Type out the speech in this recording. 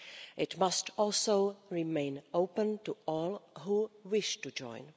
It must also remain open to all who wish to join.